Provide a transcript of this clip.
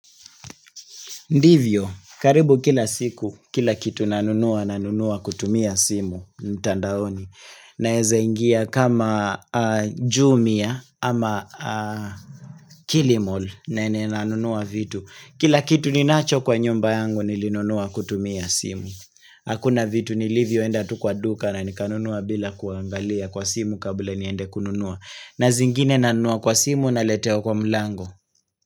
Ndivyo, karibu kila siku, kila kitu nanunua, nanunua kutumia simu, ntandaoni, naweze ingia kama jumia ama kilimall, nene nanunua vitu, kila kitu ninacho kwa nyumba yangu nilinunua kutumia simu, hakuna vitu nilivyo enda tukwa duka na nikanunuwa bila kuangalia kwa simu kabla niende kununua, na zingine nanunua kwa simu naletewa kwa mlango.